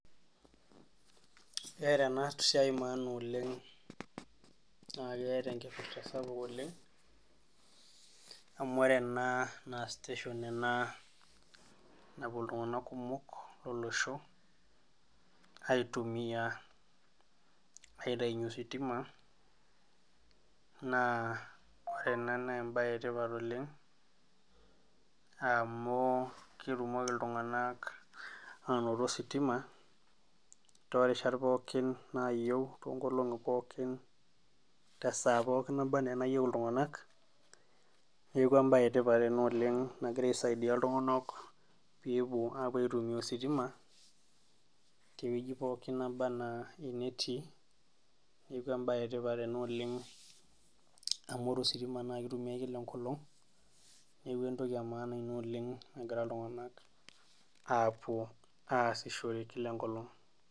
Keeta enasiai maana oleng', naa keeta enkipirta sapuk oleng', amu ore ena na station ena napuo iltung'anak kumok lolosho, aitumia aitayunye ositima, naa ore ena naa embae etipat oleng' amu ketumoki iltung'anak anoto ositima, torishat pookin nayieu tonkolong'i pookin tesaa pookin naba enaa nayieu iltung'anak, neeku ebae etipat ena oleng nagira aisaidia iltung'anak pepuo apuo aitumia ositima, tewueji pookin naba enaa enetii. Neku ebae etipat ena oleng amu ore ositima na kitumiai kila enkolong, neku entoki emaana ina oleng egira iltung'anak apuo aasishore kila enkolong'.